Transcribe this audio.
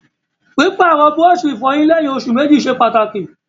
Pípàrọ̀ búrọ̀sì ìfọyín léyìn osù mẹ́jì ṣe pàtàkì